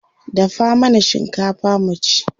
Dafa mana shinkafa mu ci.